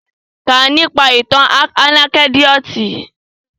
Kà nípa ìtàn ànẹ́kídòtì!